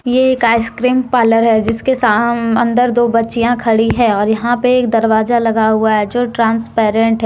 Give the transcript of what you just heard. ये एक ice cream parlour है जिसके अन्दर दो बच्चियां खड़ी हैं और यहां पे एक दरवाजा लगा हुआ हैं जो ट्रांसपेरेंट है।